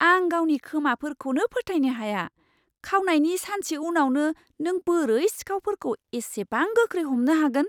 आं गावनि खोमाफोरखौनो फोथायनो हाया। खावनायनि सानसे उनावनो नों बोरै सिखावफोरखौ एसेबां गोख्रै हमनो हागोन?